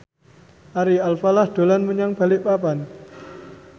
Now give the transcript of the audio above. Ari Alfalah dolan menyang Balikpapan